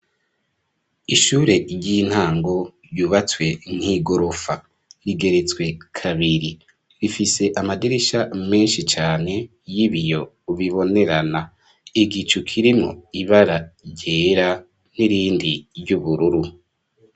Ishure ry'intango, ryubatswe nk'igorofa, rigeretswe kabiri, rifise amadirisha menshi cane, y'ibiyo bibonerana, igicu kirimwo ibara ryera, n'irindi ry'ubururu.